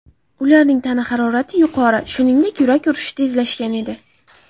Ularning tana harorati yuqori, shuningdek, yurak urishi tezlashgan edi.